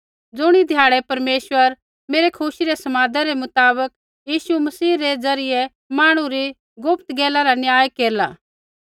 ज़ुणी ध्याड़ै परमेश्वर मेरै खुशी रै समादा रै मुताबक यीशु मसीह रै द्वारा मांहणु री गुप्त गैला रा न्याय केरला